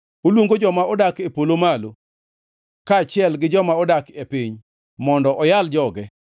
Oluongo joma odak e polo malo kaachiel gi joma odak e piny, mondo oyal joge: